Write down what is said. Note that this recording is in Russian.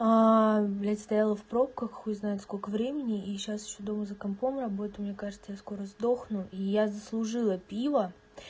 блядь стояла в пробках хуй знает сколько времени и сейчас ещё дома за компом работаю мне кажется я скоро сдохну и я заслужила пиво